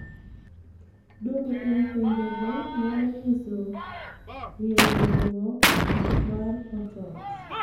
Dwoko kuom penjogo nyalo nyiso rieyoruok mar portals.